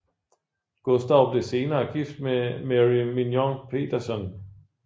Gustav blev senere gift med Merry Mignon Petersson